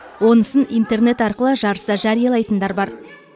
онысын интернет арқылы жарыса жариялайтындар бар